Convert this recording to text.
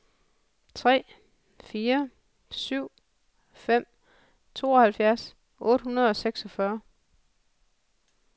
tre fire syv fem tooghalvfjerds otte hundrede og seksogfyrre